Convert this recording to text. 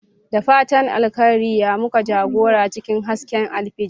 Da fatan alkhairi ya muku jagora cikin hasken alfijir.